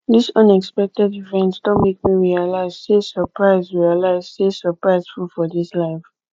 dis unexpected event don make me realize sey surprise realize sey surprise full for dis life